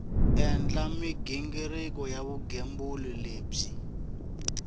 endla mighingiriko ya vugembuli lebyi